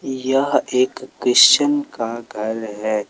यह एक क्रिश्चयन का घर है।